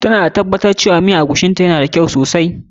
Ta na tabbatar da cewa miyan eguisi na ta ya nuna da kyau sosai.